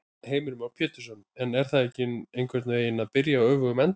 Heimir Már Pétursson: En er það ekki einhvern veginn að byrja á öfugum enda?